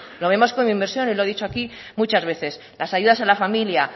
lo vemos como inversión y lo he dicho aquí muchas veces las ayudas a la familia